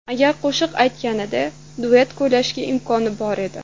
Agar qo‘shiq aytganida, duet kuylashga imkon bor edi.